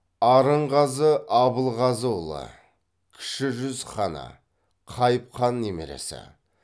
арынғазы абылғазыұлы кіші жүз ханы қайып хан немересі